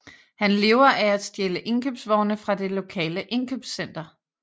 Han lever af at stjæle indkøbsvogne fra det lokale indkøbscenter